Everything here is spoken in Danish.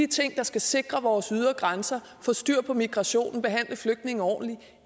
ting der skal sikre vores ydre grænser få styr på migrationen behandle flygtninge ordentligt